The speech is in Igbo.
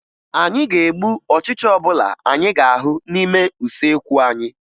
Anyị ga-egbu ọchịcha ọbụla anyị ga-ahụ n'ime usekwu anyị